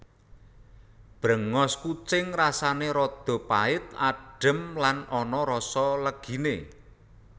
Bréngos kucing rasané rada pait adhem lan ana rasa leginé